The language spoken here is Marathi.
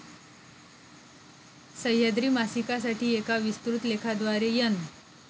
सह्याद्री मासिकासाठी एका विस्तृत लेखाद्वारे एन.